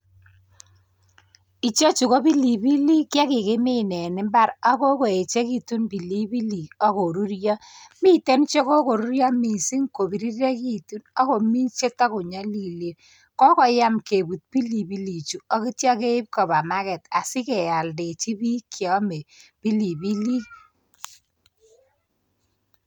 Ichechu ko pilipilik chekikimin en imbar ak kikoyechekitun pilipilik ak koruryo miten chekokoruryo missing kopirirekitun ak komii cheto konyolilen, kokoyam kebut pilipilik chuu ak ityo keib koba [ca]market asikeoldechi bik cheome pilipilik.